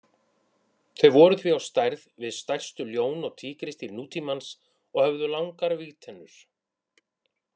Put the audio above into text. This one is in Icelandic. Þau voru því á stærð við stærstu ljón og tígrisdýr nútímans og höfðu langar vígtennur.